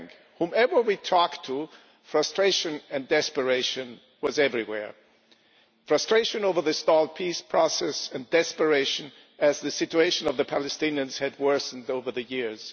Whoever we talked to, frustration and desperation was everywhere frustration over the stalled peace process and desperation as the situation of the Palestinians had worsened over the years.